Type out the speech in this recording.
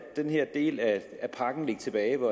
den her del af pakken ligge tilbage